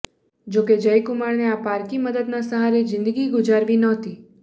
જોકે જયકુમારને આ પારકી મદદના સહારે જિંદગી ગુજારવી નહોતી